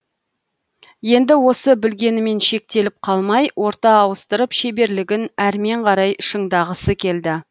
енді осы білгенімен шектеліп қалмай орта ауыстырып шеберлігін әрмен қарай шыңдағысы келді